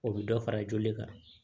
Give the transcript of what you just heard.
O bɛ dɔ fara joli kan